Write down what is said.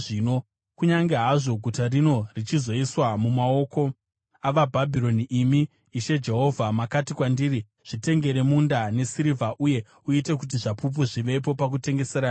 Kunyange hazvo guta rino richizoiswa mumaoko avaBhabhironi, imi, Ishe Jehovha makati kwandiri, ‘Zvitengere munda nesirivha uye uite kuti zvapupu zvivepo pakutengeserana uku.’ ”